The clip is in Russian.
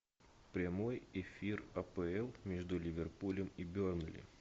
прямой эфир апл между ливерпулем и бернли